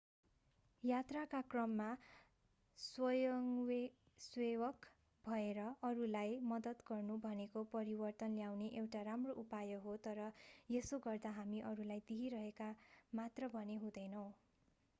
यात्राका क्रममा स्वयंसेवक भएर अरूलाई मद्दत गर्नु भनेको परिवर्तन ल्याउने एउटा राम्रो उपाय हो तर यसो गर्दा हामी अरूलाई दिइरहेका मात्र भने हुँदैनौं